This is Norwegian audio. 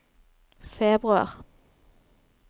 februar